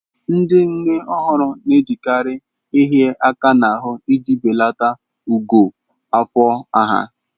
Ndị nne ọhụrụ na-ejekarị ịhịa aka n'ahụ iji belata ogo afọ ha.